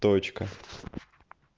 точка